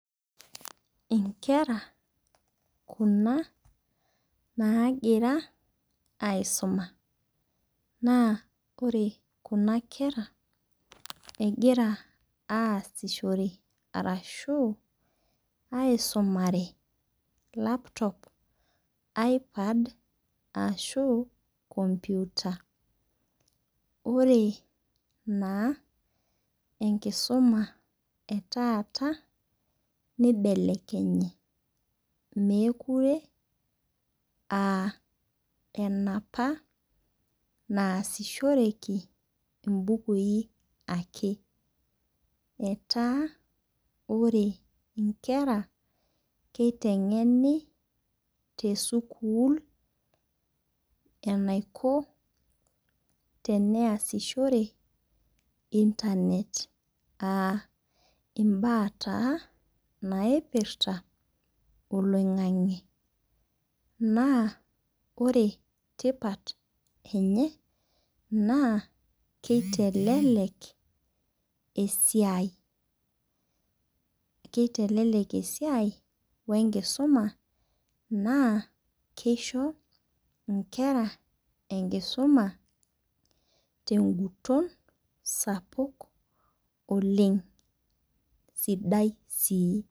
Inkera kuna nagira aisumaa naa ore kuna kera egira aasishore arashu aisumare laptop, ipad ashu  computer. Ore naa enkisuma etata nibelekenye mekure aa enapa naasishoreki ibukuin ake. Etaa ore inkera kiteng'eni te sukul enaiko tenayasishore internet aa iba taa naipirta oloing'ang'e naa ore tipat enye naa kitelelek esiai kitelelek wee nkisuma naa kisho inkera enkisuma te guton sapuk oleng' sidai sii.